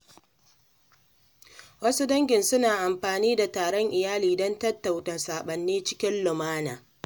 Wasu dangin suna amfani da taron iyali don tattauna saɓani cikin lumana.